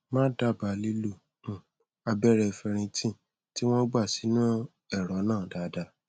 mà á dábàá lílo um abẹrẹ ferritin tí wọn gbà sínú ẹrọ náà dáadáa